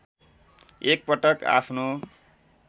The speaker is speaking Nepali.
एक पटक आफ्नो